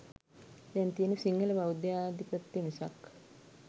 දැන් තියෙන්නේ සිංහල බෞද්ධාධිපත්‍ය මිසක්